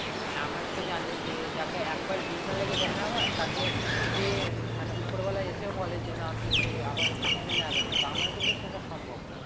না আমার তো জানিস যে যাকে একবার ঘৃণা লেগে যায় না আমার তাকে যদি উম মানে উপরবালা এসেও বলে না তুই একে আবার মেনে নে আগের মত আমার কিন্তু সেটা সম্ভব না